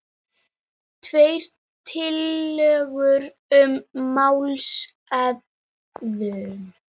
Tvær tillögur um málshöfðun